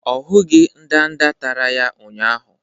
Ọ hụghị ndanda tara ya ụnyahụ